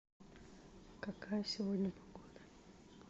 какая сегодня погода